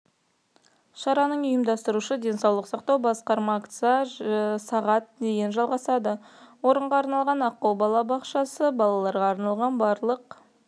шараның ұйымдастырушы денсаулық сақтау басқармасы акция сағат дейін жалғасады орынға арналған аққу балабақшасы балаларға арналған барлық